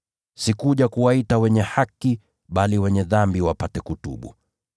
Sikuja kuwaita wenye haki, bali wenye dhambi wapate kutubu.”